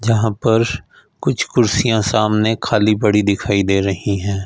जहां पर कुछ कुर्सियां सामने खाली पड़ी दिखाई दे रही हैं।